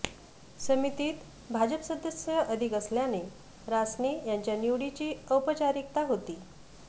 समितीत भाजप सदस्य अधिक असल्याने रासने यांच्या निवडीची औपचारिकता होती